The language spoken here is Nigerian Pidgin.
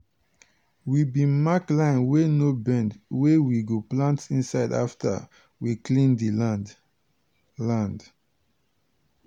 we bin mark line wey no bend wey we go plant inside after we clear di land. land.